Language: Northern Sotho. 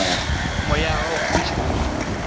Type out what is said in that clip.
moya wa go fiša wo